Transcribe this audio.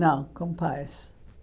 Não, com pais.